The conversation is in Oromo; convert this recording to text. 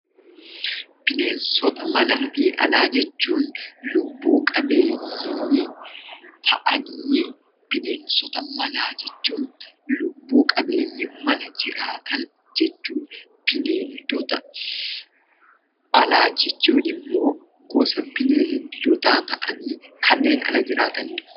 Bineensota manaa fi Alaa jechuun lubbuu qabeeyyii tahanii, bineensota manaa jechuun lubbu-qabeeyyii mana jiraatan jechuudha. Bineeldota Alaa jechuun immoo gosa bineeldotaa tahanii kanneen Ala jiraatanidha.